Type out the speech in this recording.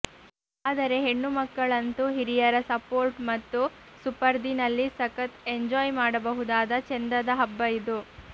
ಆದರೆ ಹೆಣ್ಣುಮಕ್ಕಳಂತೂ ಹಿರಿಯರ ಸಪೋರ್ಟು ಮತ್ತು ಸುಪರ್ದಿನಲ್ಲಿ ಸಖತ್ ಎಂಜಾಯ್ ಮಾಡಬಹುದಾದ ಚೆಂದದ ಹಬ್ಬ ಇದು